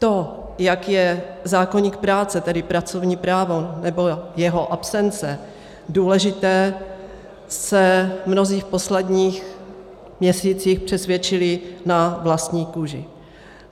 To, jak je zákoník práce, tedy pracovní právo nebo jeho absence, důležitý, se mnozí v posledních měsících přesvědčili na vlastní kůži.